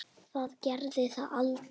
Það gerði það aldrei.